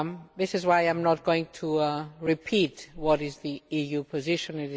This is why I am not going to repeat what the EU position is.